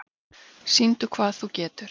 Sýndu hvað þú getur!